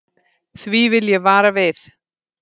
Því vil ég vara við.